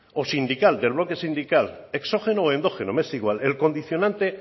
o sindical del bloque sindical exógeno o endógeno me es igual el condicionante